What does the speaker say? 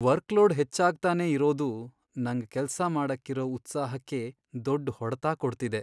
Workload ಹೆಚ್ಚಾಗ್ತಾನೇ ಇರೋದು ನಂಗ್ ಕೆಲ್ಸ ಮಾಡಕ್ಕಿರೋ ಉತ್ಸಾಹಕ್ಕೇ ದೊಡ್ಡ್ ಹೊಡ್ತ ಕೊಡ್ತಿದೆ.